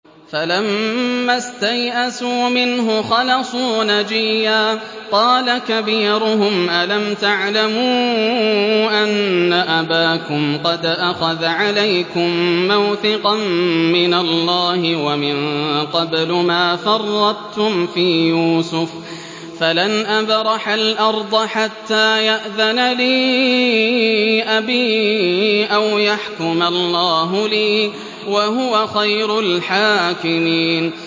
فَلَمَّا اسْتَيْأَسُوا مِنْهُ خَلَصُوا نَجِيًّا ۖ قَالَ كَبِيرُهُمْ أَلَمْ تَعْلَمُوا أَنَّ أَبَاكُمْ قَدْ أَخَذَ عَلَيْكُم مَّوْثِقًا مِّنَ اللَّهِ وَمِن قَبْلُ مَا فَرَّطتُمْ فِي يُوسُفَ ۖ فَلَنْ أَبْرَحَ الْأَرْضَ حَتَّىٰ يَأْذَنَ لِي أَبِي أَوْ يَحْكُمَ اللَّهُ لِي ۖ وَهُوَ خَيْرُ الْحَاكِمِينَ